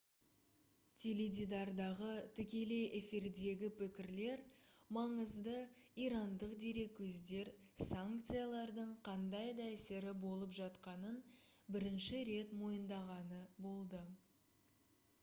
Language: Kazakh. теледидардағы тікелей эфирдегі пікірлер маңызды ирандық дерекөздер санкциялардың қандай да әсері болып жатқанын бірінші рет мойындағаны болды